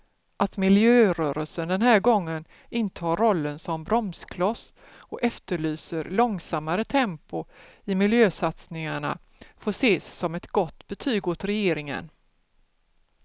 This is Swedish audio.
Att miljörörelsen den här gången intar rollen som bromskloss och efterlyser långsammare tempo i miljösatsningarna får ses som ett gott betyg åt regeringen.